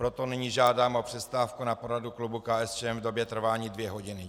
Proto nyní žádám o přestávku na poradu klubu KSČM v době trvání dvě hodiny.